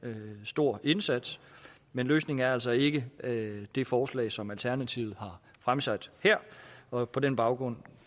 stor indsats men løsningen er altså ikke det forslag som alternativet har fremsat her og på den baggrund